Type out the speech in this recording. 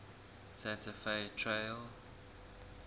santa fe trail